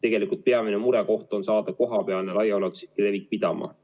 Tegelikult peamine murekoht on saada kohapealne ulatuslik levik pidama.